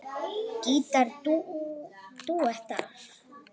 Gítar dúettar